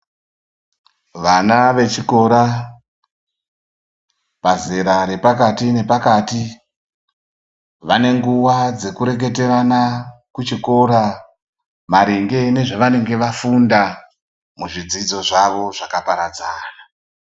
Vana vechikora, pazera repakati nepakati vane nguva dzekureketerana kuchikora maringe nezvanenge vafunda ,muzvidzidzo zvavo zvakaparadzana.